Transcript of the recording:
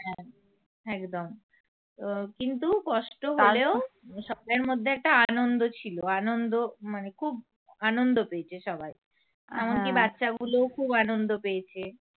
একদম তো কিন্তু কষ্ট হলেও সবেতের মধ্যে একটা আনন্দ ছিল আনন্দ মানে খুব আনন্দ পেয়েছে সবাই এমনকি বাচ্চাগুলোও খুব আনন্দ পেয়েছে